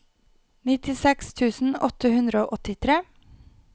nittiseks tusen åtte hundre og åttitre